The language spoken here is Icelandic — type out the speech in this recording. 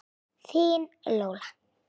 Þín Lóa.